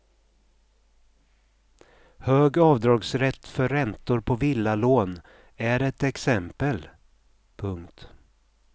Hög avdragsrätt för räntor på villalån är ett exempel. punkt